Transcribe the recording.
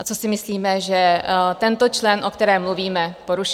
A to si myslíme, že tento člen, o kterém mluvíme, porušil.